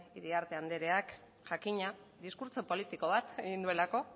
iriarte andereak jakina diskurtso politiko bat egin duelako